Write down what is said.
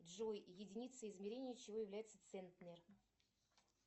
джой единицей измерения чего является центнер